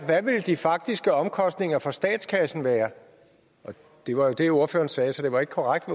hvad ville de faktiske omkostninger for statskassen være det var jo det ordføreren sagde så det var ikke korrekt